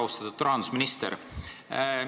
Väga austatud rahandusminister!